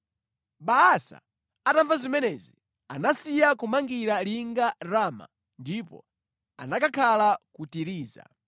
Baasa atamva zimenezi, anasiya kumangira linga Rama ndipo anakakhala ku Tiriza.